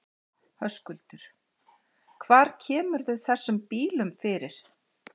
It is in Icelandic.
Höskuldur: Hvar kemurðu þessum bílum fyrir?